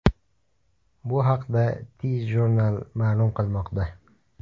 Bu haqda TJournal ma’lum qilmoqda .